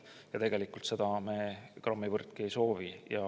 Seda me ei soovi grammivõrdki.